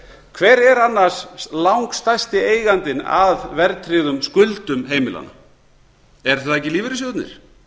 hver er annars langstærsti eigandinn að verðtryggðum skuldum heimilanna eru það ekki lífeyrissjóðirnir